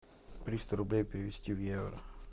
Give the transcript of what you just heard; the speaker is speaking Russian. триста рублей перевести в евро